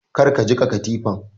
Kar ka jiƙa katifan!